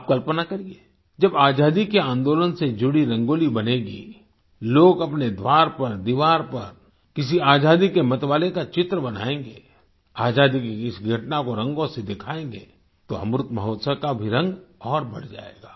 आप कल्पना करिए जब आजादी के आंदोलन से जुड़ी रंगोली बनेगी लोग अपने द्वार पर दीवार पर किसी आजादी के मतवाले का चित्र बनाएंगे आजादी की किसी घटना को रंगों से दिखाएंगे तो अमृत महोत्सव का भी रंग और बढ़ जाएगा